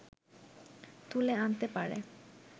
তুলে আনতে পারে